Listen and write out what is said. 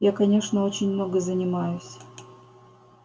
я конечно очень много занимаюсь